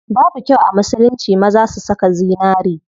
Babu kyau a musulunci maza su saka zinari.